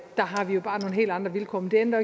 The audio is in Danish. har vi bare nogle helt andre vilkår men det ændrer